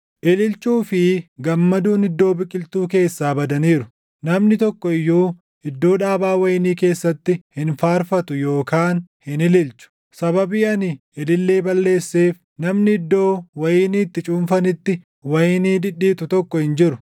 Ililchuu fi gammaduun iddoo biqiltuu keessaa badaniiru; namni tokko iyyuu iddoo dhaabaa wayinii keessatti // hin faarfatu yookaan hin ililchu: sababii ani ilillee balleesseef namni iddoo wayinii itti cuunfanitti wayinii dhidhiitu tokko hin jiru.